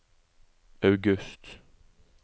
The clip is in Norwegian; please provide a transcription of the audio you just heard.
august